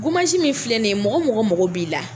min filɛ nin ye, mɔgɔ mɔgɔ mako b'i la.